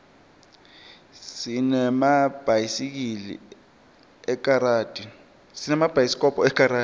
sinemabhayisikobho ekaradi